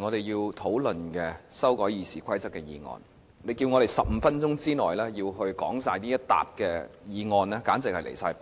我們要討論的修改《議事規則》的擬議決議案，你要求我們在15分鐘內就這些擬議決議案完成發言，簡直是離譜。